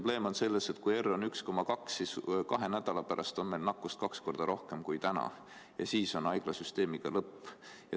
Probleem on selles, et kui R on 1,2, siis kahe nädala pärast on meil nakkust kaks korda rohkem kui täna ja siis on haiglasüsteemiga lõpp.